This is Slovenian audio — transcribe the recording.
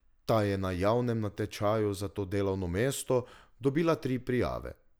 Ta je na javnem natečaju za to delovno mesto dobila tri prijave.